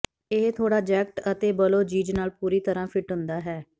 ਇਹ ਥੋੜਾ ਜੈਕਟ ਅਤੇ ਬਲੌਜੀਜ਼ ਨਾਲ ਪੂਰੀ ਤਰ੍ਹਾਂ ਫਿੱਟ ਹੁੰਦਾ ਹੈ